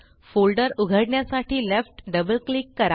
folder उघडण्यासाठी left double click करा